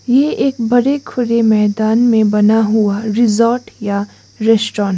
ये एक बड़े खुले मैदान में बना हुआ रिजॉर्ट या रेस्टोरेंट है।